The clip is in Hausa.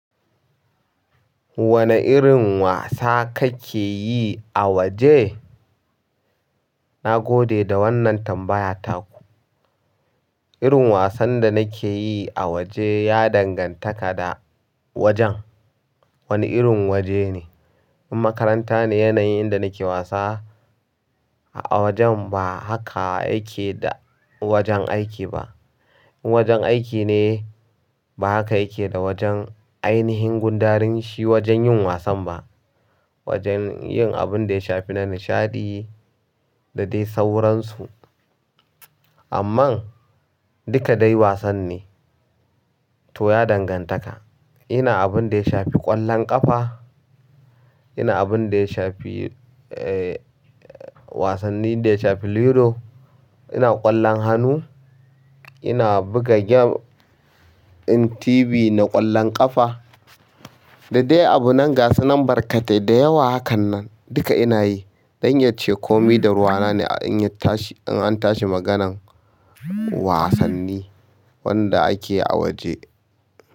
Wane irin wasa kake yi a waje? Na gode da wannan tambaya taku. Irin wasan da nake yi a waje ya dangantaka da wajen. Wane irin waje ne? In makaranta ne yanayin inda nake wasa a wajen ba haka yake da wajen aiki ba. In wajen aiki ne ba haka yake da wajen ainihin gundarin shi wajen yin wasan ba. Wajen yin abun da ya shafi na nishaɗi da dai sauransu. Amma duka dai wasan ne. To ya dangantaka. Ina abun da ya shafi ƙwallon ƙafa, ina abun da ya shafi, eh, wasannin da ya shafi ludo, ina ƙwallon hannu, ina buga game ɗin TV na ƙwallon ƙafa da dai abun ga sunan barkatai da yawa hakan nan duka ina yi. Don yace komi da ruwa ne in an tashi maganan wasanni wanda ake yi a waje.